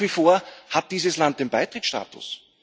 Und nach wie vor hat dieses Land den Beitrittsstatus!